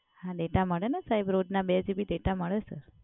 હા Data મડે ને સાહેબ રોજ ના બે GB ડેટા મળે સર